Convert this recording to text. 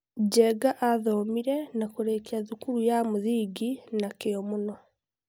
Njenga athomire na kũrĩkia thukuru ya mũthingi na kĩo mũno.